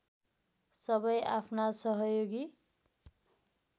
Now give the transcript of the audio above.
सबै आफ्ना सहयोगी